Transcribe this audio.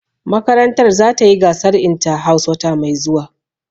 Makarantar za ta yi gasar inta-house wata mai zuwa